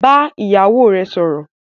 Bá ìyàwó rẹ sọ̀rọ̀